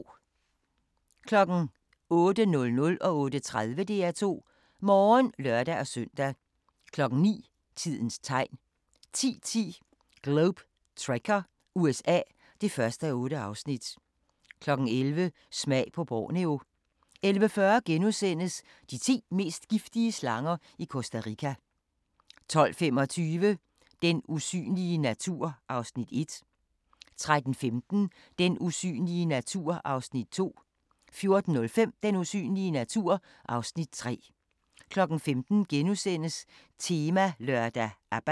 08:00: DR2 Morgen (lør-søn) 08:30: DR2 Morgen (lør-søn) 09:00: Tidens Tegn 10:10: Globe Trekker – USA (1:8) 11:00: Smag på Borneo 11:40: De ti mest giftige slanger i Costa Rica * 12:25: Den usynlige natur (Afs. 1) 13:15: Den usynlige natur (Afs. 2) 14:05: Den usynlige natur (Afs. 3) 15:00: Temalørdag: ABBA *